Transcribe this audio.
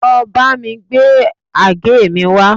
Lọ bámi gbé àgé mi wá